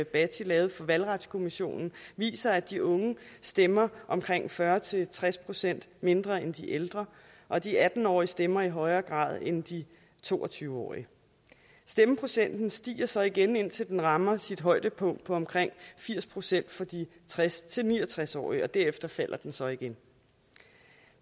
bhatti lavede for valgretskommissionen viser at de unge stemmer omkring fyrre til tres procent mindre end de ældre og de atten årige stemmer i højere grad end de to og tyve årige stemmeprocenten stiger så igen indtil den rammer sit højdepunkt på omkring firs procent for de tres til ni og tres årige og derefter falder den så igen